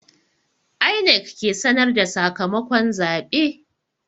INEC ke sanar da sakamakon zabe.